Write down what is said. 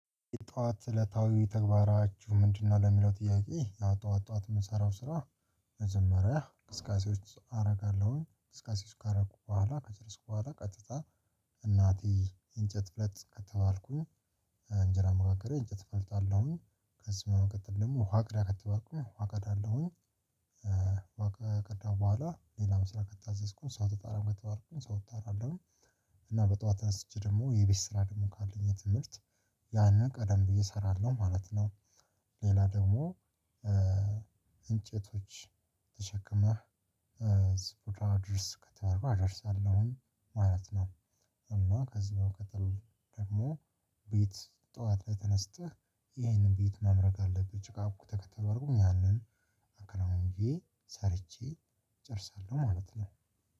ጠዋት እለታዊ ተግባራችሁ ምንድነው? ለሚለው ጥያቄ ያው ጠዋት ጠዋት የምሰራው ስራ መጀመሪያ እንቅስቃሴዎች አደርጋለሁኝ እንቅስቃሴዎች ካደረኩ በኋላ ከጨረስኩ በኋላ ቀጥታ። እናቴ እንጨት ፍለጥ ከተባልኩኝ እንጀራ መጋገሪያ እንጨት ፈልጣለሁኝ አለውኝ ከዚህ በመቀጠል ደግሞ ውሃ ቅዳ ከተባልኩኝ ውሃ ቀዳለሁኝ። ውሃ ከቀዳሁ በኋላ ሌላም ስራ ከታዘዝኩኝ ሰው ተጣራ ከተባልኩኝ ሰው እጣራለሁ። እና በጧት ተነስቼ ደግሞ የቤት ስራ ደግሞ ካለኝ የትምህርት ያንን ቀደም ብዬ እሰራለሁ ማለት ነው። ሌላ ደግሞ እንጨቶች ተሸክመህ ዝቁራ አድርስ ከተባልኩ አደርሳለሁ ማለት ነው። እና ከዚህ በመቀጠል ደግሞ ቤት ጠዋት ላይ ተነስተህ ይህንን ቤት መምረግ አለብህ ጭቃ አብክተህ ከተባልኩ ያንን አከናውኜ ሰርቼ ጨርሳለሁ ማለት ነው።